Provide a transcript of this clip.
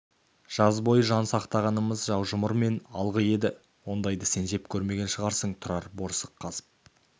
жаз бойы жан сақтағанымыз жаужұмыр мен алғы еді ондайды сен жеп көрмеген шығарсың тұрар борсық қазып